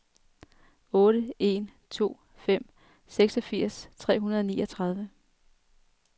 otte en to fem seksogfirs tre hundrede og niogtredive